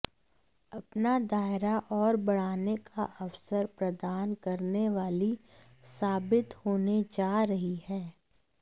अपना दायरा और बढ़ाने का अवसर प्रदान करने वाली साबित होने जा रही है